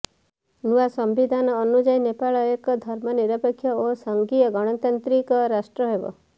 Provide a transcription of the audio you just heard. ନୂଆ ସମ୍ବିଧାନ ଅନୁଯାୟୀ ନେପାଳ ଏକ ଧର୍ମନିରପେକ୍ଷ ଓ ସଂଘୀୟ ଗଣତାନ୍ତ୍ରିକ ରାଷ୍ଟ୍ର ହେବ